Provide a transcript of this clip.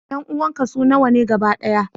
Ƴan uwanka su nawa ne gaba ɗaya?